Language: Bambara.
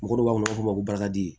Mɔgɔw b'a fɔ u b'a fɔ barika de